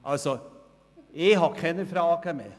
Also ich habe keine Fragen mehr;